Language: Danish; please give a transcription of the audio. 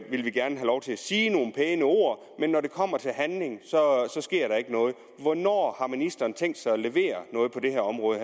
sige nogle pæne ord men når det kommer til handling sker der ikke noget hvornår har ministeren tænkt sig at levere noget på det her område